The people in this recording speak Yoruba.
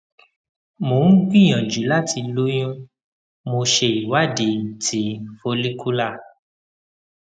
mo ń gbìyànjú láti lóyún mo ṣe ìwádìí ti follicular